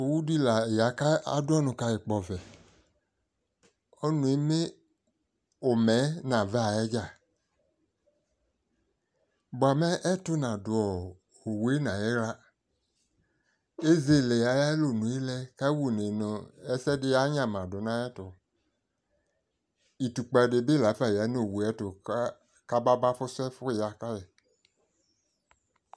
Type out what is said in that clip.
Owu di la ya ka adu ɔnʋ kayi kpɔvɛ Ɔnʋ e eme ʋmɛ yɛ nʋ ava yɛ dza Bʋamɛ, ɛtʋ nadʋ ɔ owu yɛ nayiɣla Ezele ayʋ alɔnʋ yɛ lɛ, kawunɛ nɔɔ ɛsɛdi yanyamadu nayɛtʋ Itukpa di bi la fa ya nʋ owu ɛ ayɛtʋ ka, kababa fʋsʋ ɛfʋ ya ka yi